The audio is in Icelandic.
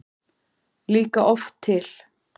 líka oft til.